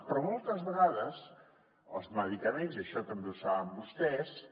però moltes vegades els medicaments i això també ho saben vostès